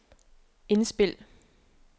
indspil